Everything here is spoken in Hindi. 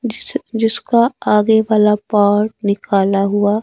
जिस जिसका आगे वाला पार्ट निकाला हुआ--